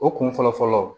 O kun fɔlɔ fɔlɔ